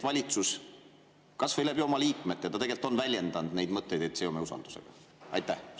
Valitsus kas või oma liikmete suu läbi on tegelikult väljendanud neid mõtteid, et seome usaldus.